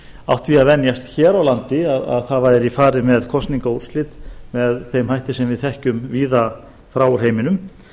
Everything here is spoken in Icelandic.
átt því að venjast hér á landi að það væri farið með kosningaúrslit með þeim hætti sem við þekkjum víða frá úr heiminum